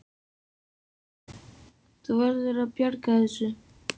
Þú verður að bjarga þessu!